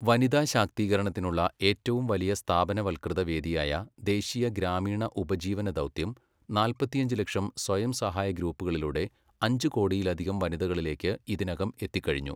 വനിതാശാക്തീകരണത്തിനുള്ള ഏറ്റവും വലിയ സ്ഥാപനവല്കൃത വേദിയായ ദേശീയ ഗ്രാമീണ ഉപജീവന ദൗത്യം നാല്പത്തിയഞ്ച് ലക്ഷം സ്വയംസഹായ ഗ്രൂപ്പുകളിലൂടെ അഞ്ച് കോടിയിലധികം വനിതകളിലേയ്ക്ക് ഇതിനകം എത്തിക്കഴിഞ്ഞു.